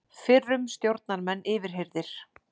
Fyrrum stjórnarmenn yfirheyrðir